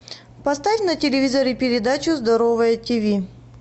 поставь на телевизоре передачу здоровое ти ви